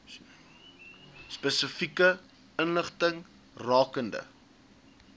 spesifieke inligting rakende